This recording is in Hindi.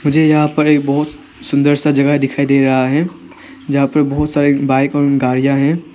मुझे यहां पर एक बहुत सुंदर सा जगह दिखाई दे रहा है जहां पर बहुत सारे बाइक और गाड़ियां हैं।